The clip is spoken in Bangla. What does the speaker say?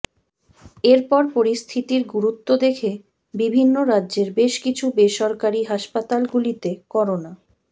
এরপর পরিস্থিতির গুরুত্ব দেখে বিভিন্ন রাজ্যের বেশ কিছু বেসরকারি হাসপাতালগুলিতে করোনা